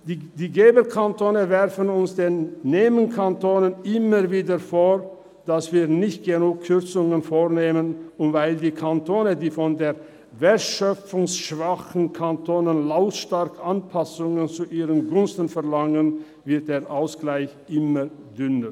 Die Geberkantone werfen uns, den Nehmerkantonen, immer wieder vor, dass wir nicht genügend Kürzungen vornehmen, und weil die Kantone, die von den wertschöpfungsschwachen Kantonen lautstark Anpassungen zu ihren Gunsten verlangen, wird der Ausgleich immer dünner.